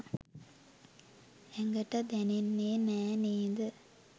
ඇඟට දැනෙන්නේ නෑ නේ ද?